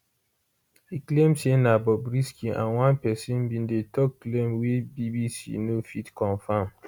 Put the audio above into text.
e claim say na bobrisky and one pesin bin dey tok claim wey bbc no fit confam